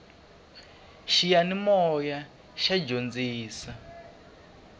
xiyanimoya xa dyondzisa